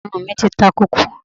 Irun mí ti ta kókó.